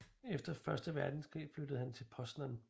Efter første verdenskrig flyttede han til Poznań